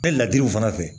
Bɛɛ ladiriw fana fɛ